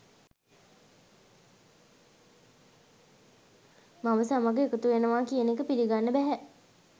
මව සමග එකතු වෙනාව කියන එක පිලිගන්න බැහැ